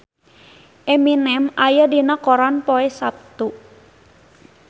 Eminem aya dina koran poe Saptu